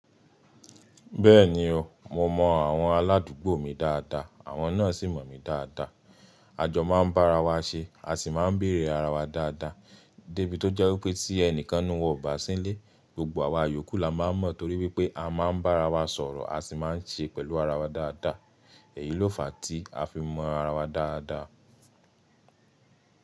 Bẹ́ẹ̀ni o, mo mọ àwọn aládùúgbò mi dáadáa àwọn náà sì mọ̀ mí dáadáa. Àjọ máa ń bá ara wa ṣe, a sì máa ń béèrè ara wa dáadáa débi tó jẹ́ wípé tí ẹnìkan nínú wọn ò bá sílé, gbogbo àwa yòókù la máa mọ̀ torí wípé a máa ń bá ara wa sọ̀rọ̀, a sì máa ń ṣe pẹ̀lú ara wa dáadáa. Èyí ló fà á tí a fi mọ ara wa dáadáa.